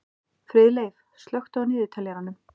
Friðleif, slökktu á niðurteljaranum.